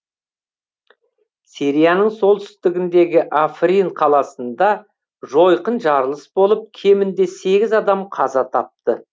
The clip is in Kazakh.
сирияның солтүстігіндегі африн қаласында жойқын жарылыс болып кемінде сегіз адам қаза тапты